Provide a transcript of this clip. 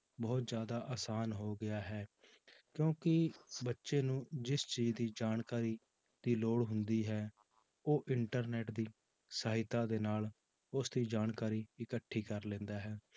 ਬਹੁਤ ਜ਼ਿਆਦਾ ਆਸਾਨ ਹੋ ਗਿਆ ਹੈ ਕਿਉਂਕਿ ਬੱਚੇ ਨੂੰ ਜਿਸ ਚੀਜ਼ ਦੀ ਜਾਣਕਾਰੀ ਦੀ ਲੋੜ ਹੁੰਦੀ ਹੈ ਉਹ internet ਦੀ ਸਹਾਇਤਾ ਦੇ ਨਾਲ ਉਸਦੀ ਜਾਣਕਾਰੀ ਇਕੱਠੀ ਕਰ ਲੈਂਦਾ ਹੈ